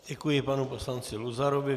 Děkuji panu poslanci Luzarovi.